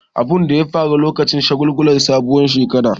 Abun ya faru lokacin shagulgulan sabuwar shekara.